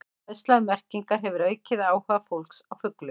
Fræðsla um merkingar hefur aukið áhuga fólks á fuglum.